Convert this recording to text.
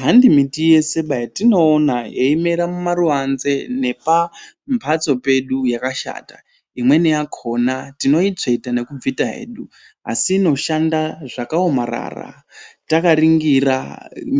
Hanti miti yese yatinoona yeimera mumaruanze nepambatso pedu yakashata imweni yakona tinoitsveta nekubvisa hedu asi inoshanda zvakaomarara takaningira